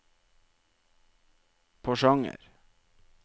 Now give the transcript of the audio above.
Porsanger